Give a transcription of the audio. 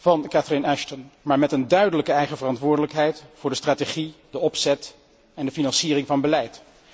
van Catherine Ashton, maar met een duidelijke eigen verantwoordelijkheid voor de strategie, de opzet en de financiering van beleid.